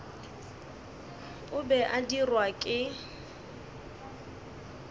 o be a dirwa ke